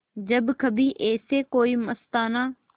जब कभी ऐसे कोई मस्ताना